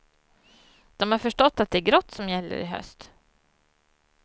De har förstått att det är grått som gäller i höst.